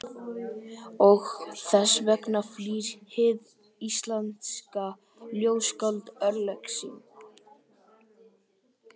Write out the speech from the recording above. Og þess vegna flýr hið íslenska ljóðskáld örlög sín.